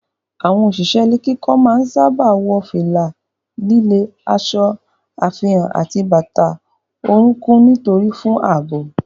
Àwọn òṣìṣẹ́ ilé kíkọ́ máa ń sáábà wọ fìlà líle, aṣọ àfihàn àti bàtà orúnkún onírin fún ààbò.